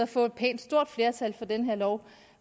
får et pænt stort flertal for den her lov